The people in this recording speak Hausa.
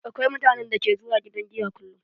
Akwai mutanen da ke zuwa gidan giya kullum.